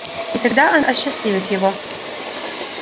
и тогда она осчастливит его